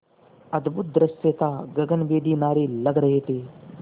अद्भुत दृश्य था गगनभेदी नारे लग रहे थे